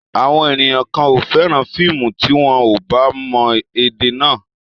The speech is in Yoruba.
Àwọn ènìyàn kan ò fẹ́ràn fíìmù tí wọn ò bá mọ èdè náà.